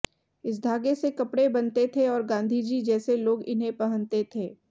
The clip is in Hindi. इस धागे से कपड़े बनते थे और गांधी जी जैसे लोग इन्हें पहनते थे